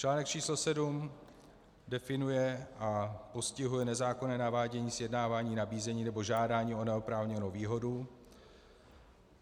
Článek číslo sedm definuje a postihuje nezákonné navádění, sjednávání, nabízení nebo žádání o neoprávněnou výhodu.